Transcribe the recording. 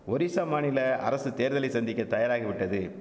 ஒரிசா மாநில அரசு தேர்தலை சந்திக்க தயாராகிவிட்டது